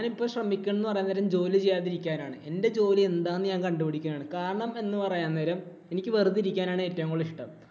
ഞാനിപ്പോൾ ശ്രമിക്കുന്നത് എന്ന് പറയുന്നേരം ജോലി ചെയ്യാതിരിക്കാൻ ആണ് ശ്രമിക്കുന്നേ. എന്‍റെ ജോലി എന്താണെന്ന് ഞാൻ കണ്ടുപിടിക്കുകയാണ്. കാരണം എന്ന് പറയാന്നേരം എനിക്ക് വെറുതെ ഇരിക്കാനാണ് ഏറ്റവും കൂടുതല്‍ ഇഷ്ടം.